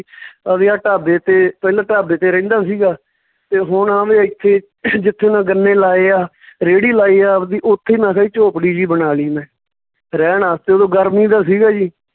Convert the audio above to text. ਅਹ ਵੀ ਆ ਢਾਬੇ ਤੇ, ਪਹਿਲਾਂ ਢਾਬੇ ਤੇ ਰਹਿੰਦਾ ਸੀਗਾ ਤੇ ਹੁਣ ਇੱਥੇ ਜਿੱਥੇ ਮੈਂ ਗੰਨੇ ਲਾਏ ਆ ਰੇਹੜੀ ਲਾਈ ਹੈ ਆਵਦੀ, ਉੱਥੇ ਮੈਂ ਕਿਹਾ ਜੀ ਝੋਪੜੀ ਜਿਹੀ ਬਣਾ ਲਈ ਮੈਂ ਰਹਿਣ ਵਾਸਤੇ ਓਦੋਂ ਗਰਮੀ ਦਾ ਸੀਗਾ ਜੀ